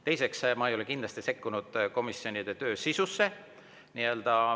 Teiseks, ma ei ole kindlasti sekkunud komisjonide töö sisusse.